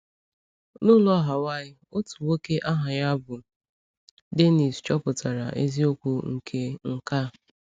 N’ụlọ Hawaị, otu nwoke aha ya bụ Dénnís chọpụtara eziokwu nke nke a.